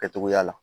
Kɛcogoya la